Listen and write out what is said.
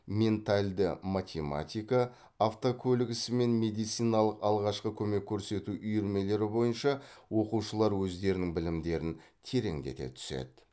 ментальді математика автокөлік ісі мен медициналық алғашқы көмек көрсету үйірмелері бойынша оқушылар өздерінің білімдерін тереңдете түседі